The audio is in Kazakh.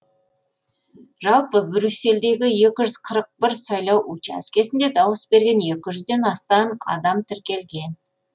жалпы брюссельдегі екі ж з қырық бір сайлау учаскесінде дауыс беруге екі жүзден астам адам тіркелген